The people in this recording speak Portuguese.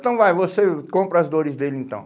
Então vai, você compra as dores dele então.